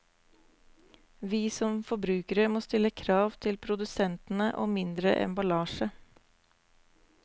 Vi som forbrukere må stille krav til produsentene om mindre emballasje.